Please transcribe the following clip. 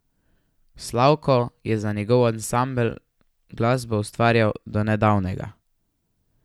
Slavko je za njegov ansambel glasbo ustvarjal do nedavnega.